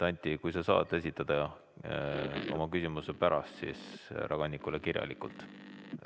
Anti, sa saad esitada oma küsimuse härra Kannikule kirjalikult.